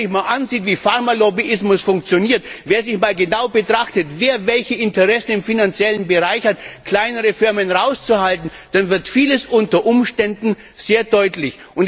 Wenn man sich einmal ansieht, wie Pharmalobbyismus funktioniert, wenn man sich einmal genau betrachtet, wer welche Interessen im finanziellen Bereich hat, kleine Firmen herauszuhalten, dann wird vieles unter Umständen sehr deutlich.